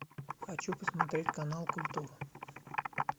хочу посмотреть канал культура